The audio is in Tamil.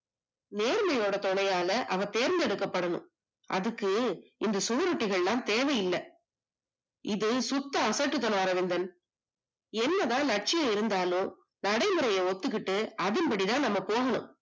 நேர்மையோட துணையால் அவன் தேர்ந்தெடுக்கப்படணும் அதுக்கு இந்த சுவரொட்டி எல்லாம் தேவையில்லை இது சொத்து அசட்டுத்தனம் அரவிந்தன் என்னதான் லட்சிய இருந்தாலும் நடைமுறையை ஒத்துக்கிட்டு அதன்படி தான் நம்ம போகணும்